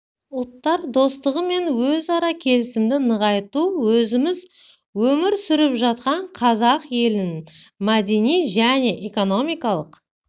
ұлттар достығы мен өзара келісімді нығайту өзіміз өмір сүріп жатқан қазақ елінің мәдени және экономикалық